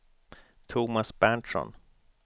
Tomas Berntsson